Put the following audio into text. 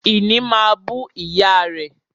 Ìní máa bú ìyá rẹ̀